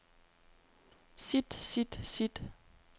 sit sit sit